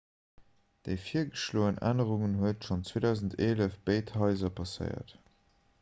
déi virgeschloen ännerung huet schonn 2011 béid haiser passéiert